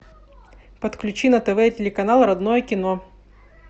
подключи на тв телеканал родное кино